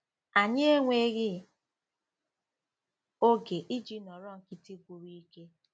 Anyị enweghị oge iji nọrọ nkịtị gwụrụ ike